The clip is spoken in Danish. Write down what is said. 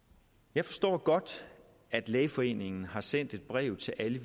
jeg forstår godt at lægeforeningen har sendt et brev til alle